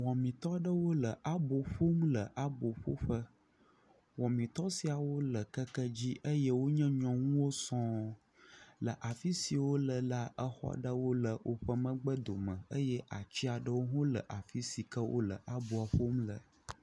wumitɔɖewo le abó ƒom le abó ƒoƒe wɔmitɔ siawo le keke dzi eye wonye nyɔŋuwo sɔŋ le afisi wóle la exɔɖewo le wóƒe megbe dome eye atsiaɖewo hɔ̃ le afisi ke wóle aboa ƒom le